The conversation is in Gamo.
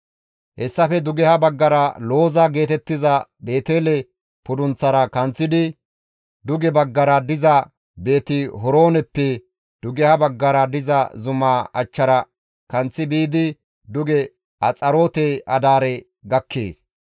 Hessafe dugeha baggara Looza geetettiza Beetele pudunththaara kanththidi duge baggara diza Beeti-Horooneppe dugeha baggara diza zumaa achchara kanththi biidi duge Axaroote-Adaare gakkees.